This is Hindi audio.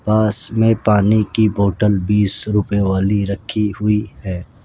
पास में पानी की बोटल बीस रुपए वाली रखी हुई है।